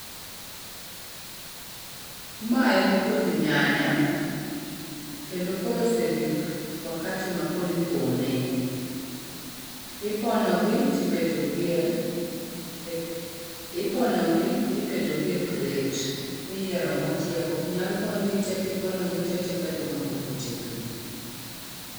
Ma en puoth nyanya kendo koro osegik wakati makoro ipone. Iponogi tiketogi e iponogi tiketogi e crate. Iyiero mochiek ok nyal pon gi te, kiponogi tee tiketho mapok otegno.